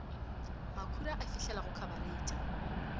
makhura a fihlela go khabareitha